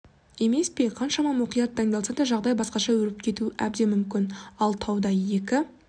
емес пе қаншама мұқият дайындалса да жағдай басқаша өрбіп кетуі әбден мүмкін ал тауда екі